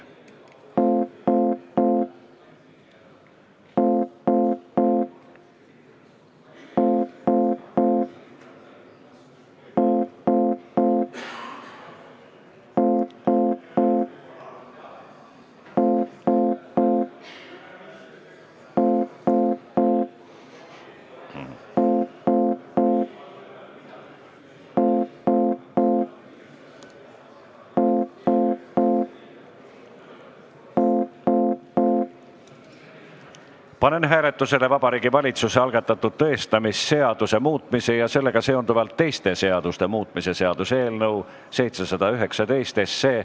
Panen hääletusele Vabariigi Valitsuse algatatud tõestamisseaduse muutmise ja sellega seonduvalt teiste seaduste muutmise seaduse eelnõu .